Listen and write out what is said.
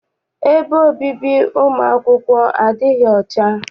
Ebe obibi ụmụ akwụkwọ adịghị ọcha.